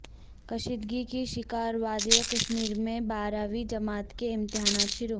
کشیدگی کی شکار وادی کشمیر میں بارہویں جماعت کے امتحانات شروع